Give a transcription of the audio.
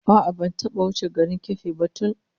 A'a, ban taba ko wuce garin Keffi ba tkun